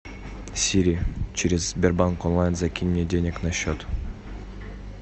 сири через сбербанк онлайн закинь мне денег на счет